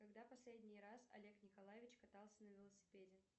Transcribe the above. когда последний раз олег николаевич катался на велосипеде